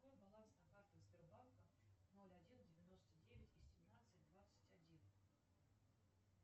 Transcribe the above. какой баланс на картах сбербанка ноль один девяносто девять и семнадцать двадцать один